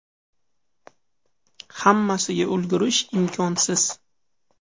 Hammasiga ulgurish imkonsiz.